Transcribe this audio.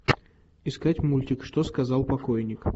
искать мультик что сказал покойник